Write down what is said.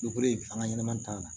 an ka ɲɛnɛmaya ta la